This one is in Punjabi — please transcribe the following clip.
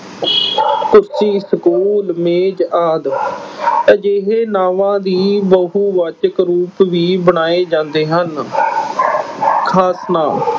ਕੁਰਸੀ, school, ਮੇਜ਼ ਆਦਿ। ਅਜਿਹੇ ਨਾਵਾਂ ਦੇ ਬਹੁਵਾਚਕ ਰੂਪ ਵੀ ਬਣਾਏ ਜਾਂਦੇ ਹਨ। ਖਾਸ ਨਾਂਵ